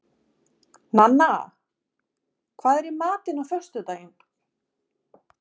Nanna, hvað er í matinn á föstudaginn?